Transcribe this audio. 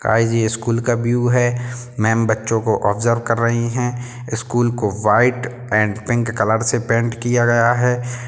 आई G school का view है। Ma'am बच्चों को ओबजर्व कर रही हैं। इस स्कूल को व्हाइट एण्ड पिंक कलर से पेंट किया गया है।